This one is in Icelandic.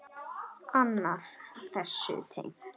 Annað þessu tengt.